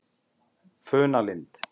Funalind